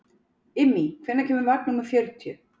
Immý, hvenær kemur vagn númer fjörutíu?